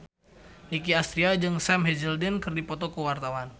Nicky Astria jeung Sam Hazeldine keur dipoto ku wartawan